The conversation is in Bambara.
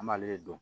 An b'ale dɔn